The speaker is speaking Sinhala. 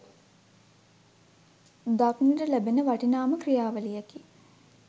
දක්නට ලැබෙන වටිනාම ක්‍රියාවලියකි